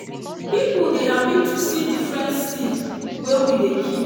people dey happy to see different seed wey we dey keep.